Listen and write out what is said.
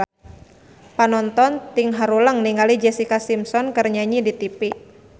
Panonton ting haruleng ningali Jessica Simpson keur nyanyi di tipi